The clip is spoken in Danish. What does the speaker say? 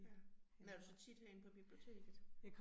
Ja, men er du så tit herinde på biblioteket?